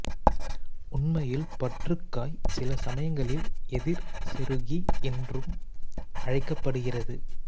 உண்மையில் பற்றுக்காய் சில சமயங்களில் எதிர் செருகி என்றும் அழைக்கப்படுகிறது